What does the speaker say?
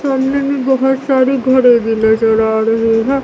सामने में बहोत सारी घड़ी भी नजर आ रही है।